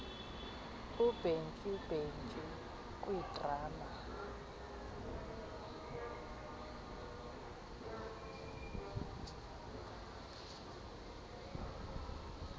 ubhentsu bhentsu kwidrama